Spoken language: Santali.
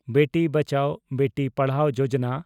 ᱵᱮᱴᱤ ᱵᱟᱪᱟᱣ, ᱵᱮᱴᱤ ᱯᱟᱰᱷᱟᱣ ᱡᱳᱡᱚᱱᱟ